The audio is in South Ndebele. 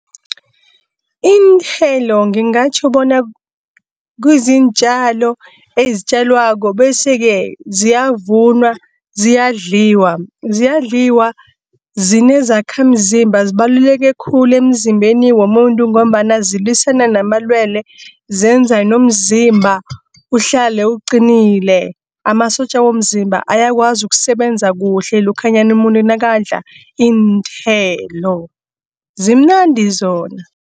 Iinthelo ngingatjho bona kuziintjalo ezitjalwako bese-ke, ziyavunwa ziyadliwa. ZiyadlIwa zine zakhamzimba zibaluleke khulu emzimbeni womuntu, ngombana zilwisane namalwele. Zenzani nomzimba uhlale uqinile, amasotja womzimba ayakwazi ukusebenza kuhle lokhanyana umuntu nakadla iinthelo. Zimnandi zona.